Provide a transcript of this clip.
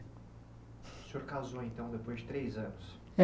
O senhor casou, então, depois de três anos.